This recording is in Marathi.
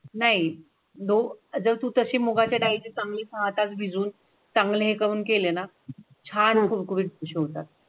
नाही, दोन जरतू तशी मुगाच्या डाळीची चांगली तास भिजवून चांगले काम केले ना? छान होईल शोधात.